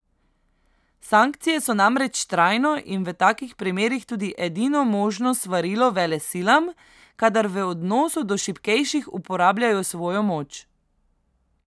Sankcije so namreč trajno in v takih primerih tudi edino možno svarilo velesilam, kadar v odnosu do šibkejših uporabljajo svojo moč.